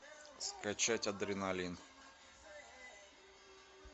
скачать адреналин